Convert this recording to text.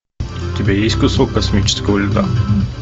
у тебя есть кусок космического льда